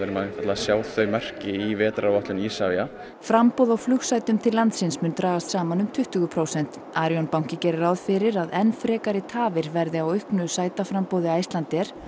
sjáum þau merki í vetraráætlun Isavia framboð á flugsætum til landsins mun dragast saman um tuttugu prósent Arion banki gerir ráð fyrir að enn frekari tafir verði á auknu sætaframboði Icelandair